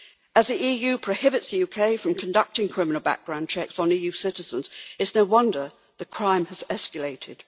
As the EU prohibits the UK from conducting criminal background checks on EU citizens, it is no wonder that crime has escalated.